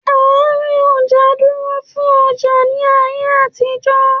Àárín ọjà dúró fún ọjà ní ayé àtijó.